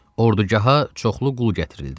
Ordugaha çoxlu qul gətirildi.